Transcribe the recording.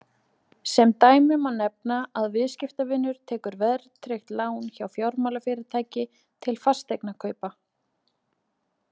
Sem dæmi má nefna að viðskiptavinur tekur verðtryggt lán hjá fjármálafyrirtæki til fasteignakaupa.